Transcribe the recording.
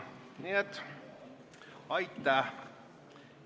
Nii et aitäh!